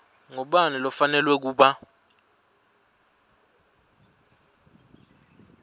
ngubani lofanelwe kuba